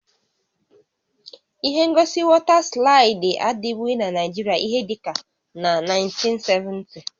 Ihe ngosi wọta slaịdị adịbụghị na Naịjirịa ihé dịka na 1970